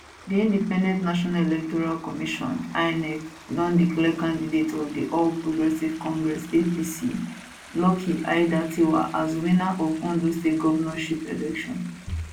di independent national electoral commission inec don declare candidate of di all progressives congress apc lucky aiyedatiwa as winner of ondo state govnorship election